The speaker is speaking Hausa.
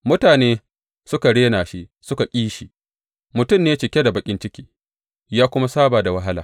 Mutane suka rena shi suka ƙi shi, mutum ne cike da baƙin ciki, ya kuma saba da wahala.